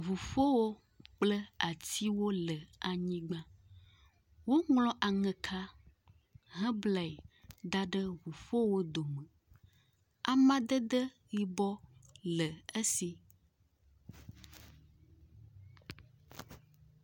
Ʋuƒowo kple atiwo le anyigba, woŋlɔ Ameha hã ble da ɖe ʋuƒowo dome. Amadede yibɔ le esi.